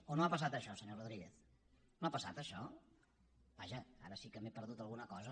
o no ha passat això senyor rodríguez ja ara sí que m’he perdut alguna cosa